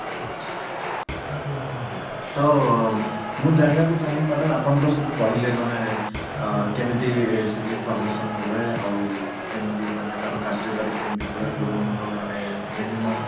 okay ତ ମୁଁ ଜାଣିବାକୁ ଚାହିଁବି madam ଆପଣ ତ ସବୁ କହିଲେ ମାନେ ଅ କେମିତି SHG formation ହୁଏ ଆଉ କେମିତି ମାନେ ତାର କାର୍ଯ୍ୟକାରୀ କେମିତି ହୁଏ loan ର ମାନେ minimum